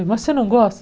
Você não gosta?